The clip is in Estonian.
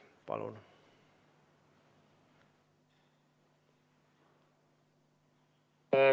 Palun!